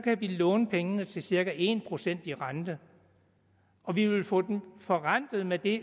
kan vi låne pengene til cirka en procent i rente og vi ville få dem forrentet med det